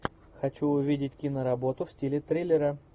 хочу увидеть киноработу в стиле триллера